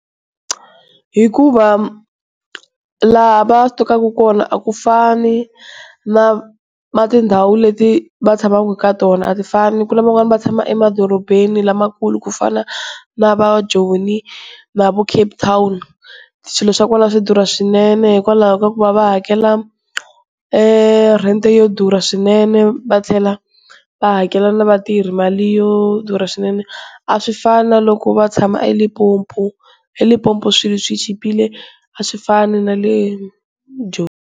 Hikuva laha va sitokaku kona a ku fani na tindhawu leti va tshamaka ka tona a ti fani. Ku na van'wana va tshama emadorobeni lamakulu ku fana na va joni na va Cape Town swilo swa kona swi durha swinene, hikwalaho ka ku va va hakela rent yo durha swinene. Va tlhela va hakela na vatirhi mali yo durha swinene, a swi fani na loko va tshama Limpopo eLimpopo swilo swi chipile a swi fani na le joni.